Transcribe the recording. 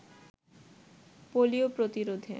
polio প্রতিরোধে